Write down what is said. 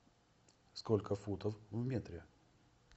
сколько футов в метре